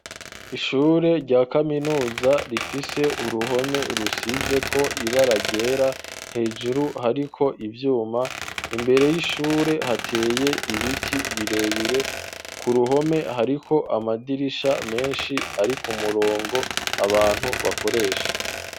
Ishure rya kaminuza rifise uruhome rusize ko iba aragera hejuru hariko ivyuma imbere y'ishure hateye ibiti birebire ku ruhome hariko amadirisha menshi ari ko murongo abantu bakoresha.